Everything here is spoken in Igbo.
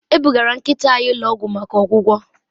E bugara nkịta anyị ụlọ ọgwụ maka ọgwụgwọ